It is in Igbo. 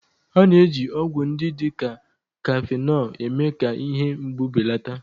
A na-eji ọgwụ ndị dị ka kafenọ eme-ka ihe mgbu belata